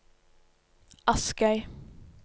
Askøy